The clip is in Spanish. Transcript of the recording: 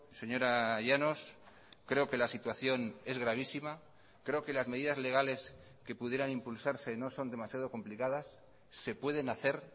señora llanos creo que la situación es gravísima creo que las medidas legales que pudieran impulsarse no son demasiado complicadas se pueden hacer